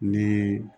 Ni